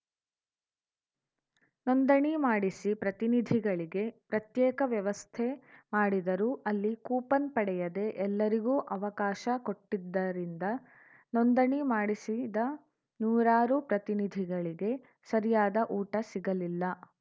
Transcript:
ನೋಂದಣಿ ಮಾಡಿಸಿ ಪ್ರತಿನಿಧಿಗಳಿಗೆ ಪ್ರತ್ಯೇಕ ವ್ಯವಸ್ಥೆ ಮಾಡಿದರೂ ಅಲ್ಲಿ ಕೂಪನ್‌ ಪಡೆಯದೇ ಎಲ್ಲರಿಗೂ ಅವಕಾಶ ಕೊಟ್ಟಿದ್ದರಿಂದ ನೋಂದಣಿ ಮಾಡಿಸಿದ ನೂರಾರು ಪ್ರತಿನಿಧಿಗಳಿಗೆ ಸರಿಯಾದ ಊಟ ಸಿಗಲಿಲ್ಲ